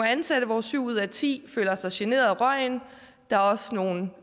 ansatte hvor syv ud af ti føler sig generet af røgen og der er også nogle